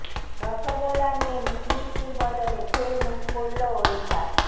রসগোল্লা নিয়ে মুখ মিষ্টির বদলে ফের মুখ পুড়ল ওড়িশার